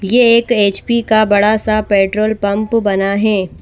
ये एक एच_पी का बड़ा सा पेट्रोल पंप बना है।